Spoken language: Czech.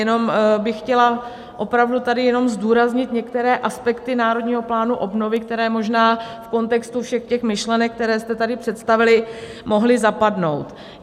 Jenom bych chtěla opravdu tady jenom zdůraznit některé aspekty Národního plánu obnovy, které možná v kontextu všech těch myšlenek, které jste tady představili, mohly zapadnout.